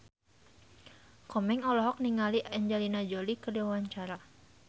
Komeng olohok ningali Angelina Jolie keur diwawancara